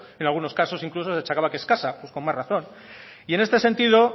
en algunos casos incluso se achacaba que escasa con más razón y en este sentido